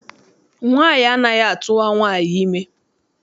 Nwaanyị anaghị atụwa nwaanyị ime.